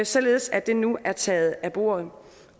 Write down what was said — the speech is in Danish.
således at det nu er taget af bordet